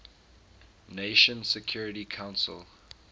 nations security council